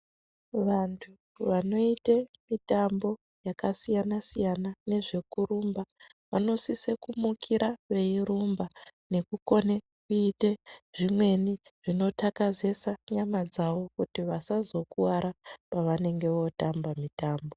Vantu vanoite mitambo yakasiyana-siyana nezvekurumba vanosise kumukira veirumba nekukone kuite zvimweni zvinotakazesa nyama dzavo kuti vasazokuvara pavanenge vootamba mitambo.